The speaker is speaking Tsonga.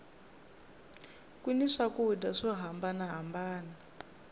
ku ni swakudya swo hambana hambana